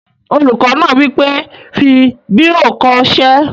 Olùkọ́ náà wí pé, "fi bírò kọ ṣé!"